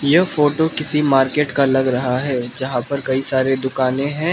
यह फोटो किसी मार्केट का लग रहा है जहां पर कई सारे दुकानें हैं।